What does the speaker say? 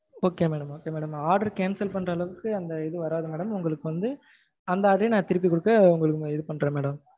okay madam okay madam order cancel பண்ற அளவுக்கு அந்த இது வராது madam. உங்களுக்கு வந்து அந்த order ரே நா திருப்பி கொடுத்து நா இது பண்றேன் madam.